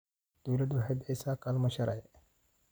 Dawladdu waxay bixisaa kaalmo sharci.